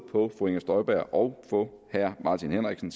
på fru inger støjberg og på herre martin henriksen